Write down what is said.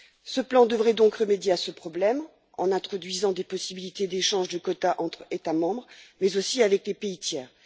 Ce plan devrait donc remédier à ce problème en introduisant des possibilités d'échange de quotas entre États membres, mais aussi avec des pays tiers.